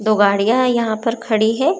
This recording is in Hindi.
दो गाड़ियां यहां पर खड़ी है।